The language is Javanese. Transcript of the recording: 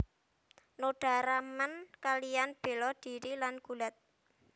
Noda remen kaliyan bela dhiri lan gulat